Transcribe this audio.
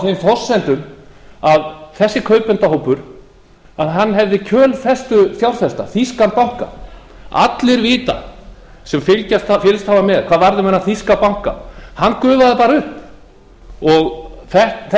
þeim forsendum að þessi kaupendahópur hefði kjölfestufjárfesta þýskan banka allir vita sem fylgst hafa með hvað varð um þennan þýska banka hann gufaði bara